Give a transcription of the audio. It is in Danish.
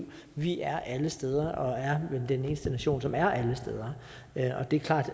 vi er alle steder og er vel den eneste nation som er alle steder det er klart